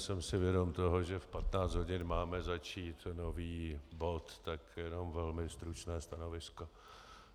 Jsem si vědom toho, že v 15 hodin máme začít nový bod, tak jenom velmi stručné stanovisko.